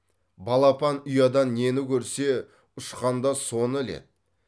балапан ұядан нені көрсе ұшқанда соны іледі